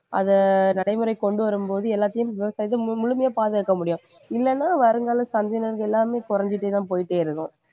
அதை நடைமுறைக்குக்கொண்டு வரும்போது எல்லாத்தையும் விவசாயத்தை மு~ முழுமையா பாதுகாக்க முடியும் இல்லைன்னா வருங்கால சந்ததியினருக்கு எல்லாமே குறைஞ்சிட்டேதான் போயிட்டே இருக்கும்